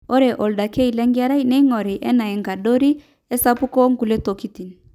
ore oldakei lenkerai neing'ori enaa enkadori, esapuko onkulie tokitin